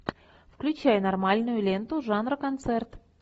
включай нормальную ленту жанра концерт